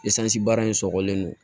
baara in sɔgɔlen don